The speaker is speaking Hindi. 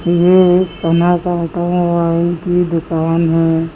ये एक मोबाइल की दुकान है।